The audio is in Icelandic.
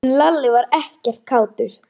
En Lalli var ekkert kátur.